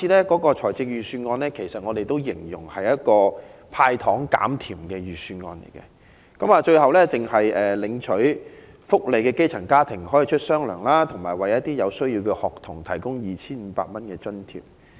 今年的預算案，我們形容為"派糖減甜"的預算案，只有領取福利的基層家庭可以"出雙糧"，以及有需要的學童可領取 2,500 元津貼。